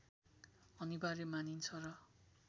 अनिवार्य मानिन्छ र